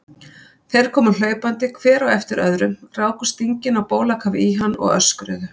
Þeir komu hlaupandi hver á eftir öðrum, ráku stingina á bólakaf í hann og öskruðu.